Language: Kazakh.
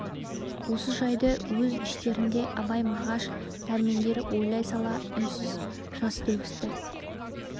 осы жайды өз іштерінде абай мағаш дәрмендер ойлай сала үнсіз жас төгісті